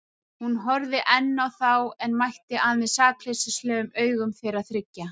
Hún horfði enn á þá en mætti aðeins sakleysislegum augum þeirra þriggja.